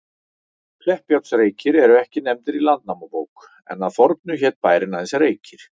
Kleppjárnsreykir eru ekki nefndir í Landnámabók, en að fornu hét bærinn aðeins Reykir.